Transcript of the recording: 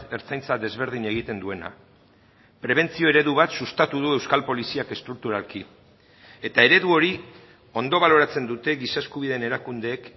ertzaintza desberdin egiten duena prebentzio eredu bat sustatu du euskal poliziak estrukturalki eta eredu hori ondo baloratzen dute giza eskubideen erakundeek